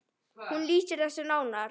Hún lýsir þessu nánar.